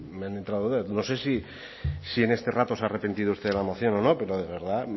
me han entrado dudas no sé si en este rato se ha arrepentido usted de la moción o no pero de verdad